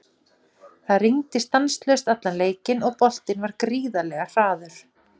Það rigndi stanslaust allan leikinn og boltinn var gríðarlega hraður.